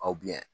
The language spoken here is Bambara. Aw